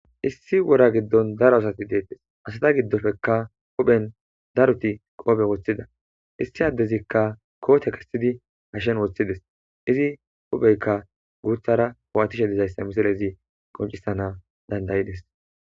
Issi wora giddon daro asati dettesi asata giddoppekka daroti huphphen kobbe woththida issi addezikka kotte kesidi hashshen woththides izi huphpheyikka guththara bo'atishe dizzayisa missilezi qonccisanaw danda'idesi.